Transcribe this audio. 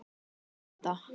spyr Edda.